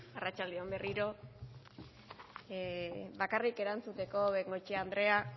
arratsalde on berriro bakarrik erantzuteko bengoechea andrea